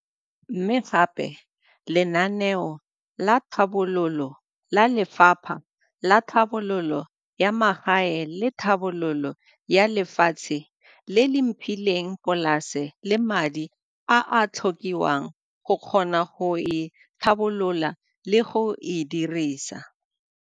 Mme gape le lenaneo la tlhabololo la Lefapha la Tlhabololo ya Magae le Tlhabololo ya Lefatshe, le le mphileng polase le madi a a tlhokiwang go kgona go e tlhabolola le go e dirisa.